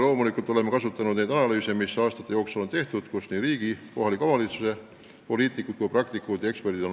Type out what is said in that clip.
Loomulikult oleme kasutanud neid foorumeid ja analüüse, mis aastate jooksul on tehtud ja mille puhul on oma panuse andnud ka riigi ja kohalike omavalitsuste poliitikud, samuti praktikud ja eksperdid.